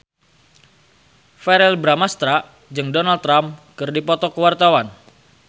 Verrell Bramastra jeung Donald Trump keur dipoto ku wartawan